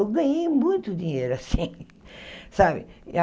Eu ganhei muito dinheiro assim, sabe?